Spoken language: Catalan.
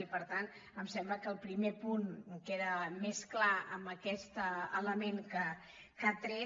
i per tant em sembla que el primer punt queda més clar amb aquest element que ha tret